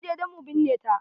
Mun je dan mu binne ta.